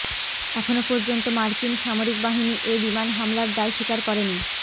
এখন পর্যন্ত মার্কিন সামরিক বাহিনী এ বিমান হামলার দায় স্বীকার করেনি